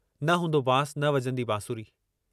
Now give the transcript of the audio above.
न हूंदो बांस न वॼंदी बंसुरी।